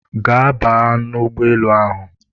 Gaa baa ụgbọelu ahụ!